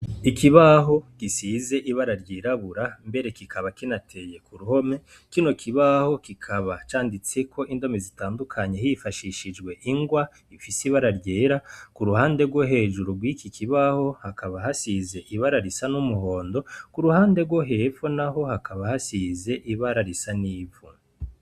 Ikibaho gisize ibara ryirabura , mbere kikaba kinateye kuruhome, kino kibaho kikaba canditseko indome zitandukanye hifashishijwe ingwa , ifise ibara ryera , kuruhande rwo hejuru rwikikibaho hakaba hasize ibara risa n'umuhondo, kuruhande rwo hepfo naho hakaba hasize ibara risa n'ivu.